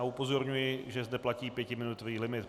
A upozorňuji, že zde platí pětiminutový limit.